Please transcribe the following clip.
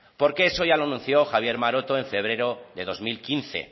porque eso ya lo anunció javier maroto en febrero del dos mil quince